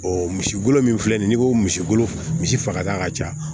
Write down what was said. O misi golo min filɛ nin ye n'i ko misi golo misi fagata ka ca